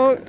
og